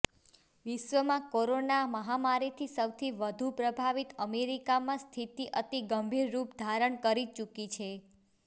વિશ્વમાં કોરોના મહામારીથી સૌથી વધુ પ્રભાવિત અમેરિકામાં સ્થિતિ અતિ ગંભીર રુપ ધારણ કરી ચૂકી છે